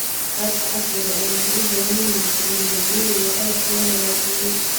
Waraabka casriga ahi wuxuu u baahan yahay tignoolajiyada iyo qalabka la hagaajiyay.